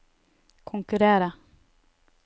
konkurrere